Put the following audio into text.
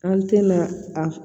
An tɛna a